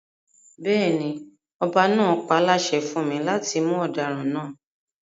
Bẹ́ẹ̀ni, ọba náà páláṣẹ fún mi láti mú ọdaràn náà